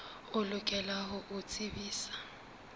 o lokela ho o tsebisa